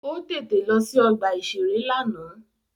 Ó tètè lọ sí ọgbà-ìṣeré lánàá